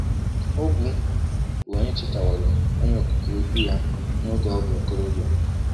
Ogwu, bụ onye chetaworo Onye Okike Ukwu ya n’oge ọ bụ okorobịa.